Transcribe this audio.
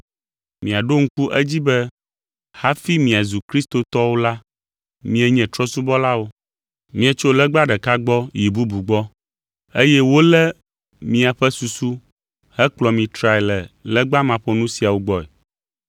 Miaɖo ŋku edzi be hafi miazu kristotɔwo la, mienye trɔ̃subɔlawo. Mietso legba ɖeka gbɔ yi bubu gbɔ, eye wolé míaƒe susu hekplɔ mi trae le legba maƒonu siawo gbɔe.